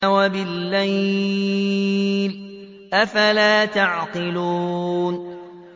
وَبِاللَّيْلِ ۗ أَفَلَا تَعْقِلُونَ